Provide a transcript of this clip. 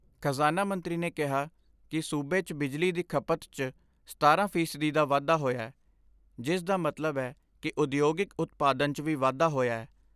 ਖ਼ਜ਼ਾਨਾ ਮੰਤਰੀ ਨੇ ਕਿਹਾ ਕਿ ਸੂਬੇ 'ਚ ਬਿਜਲੀ ਦੀ ਖਪਤ 'ਚ ਸਤਾਰਾਂ ਫ਼ੀਸਦੀ ਦਾ ਵਾਧਾ ਹੋਇਐ ਜਿਸ ਦਾ ਮਤਲਬ ਐ ਕਿ ਉਦਯੋਗਿਕ ਉਤਪਾਦਨ 'ਚ ਵੀ ਵਾਧਾ ਹੋਇਐ।